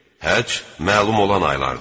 Həcc məlum olan aylardır.